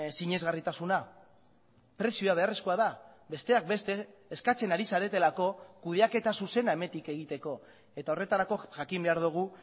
sinesgarritasuna prezioa beharrezkoa da besteak beste eskatzen ari zaretelako kudeaketa zuzena hemetik egiteko eta horretarako jakin behar dugu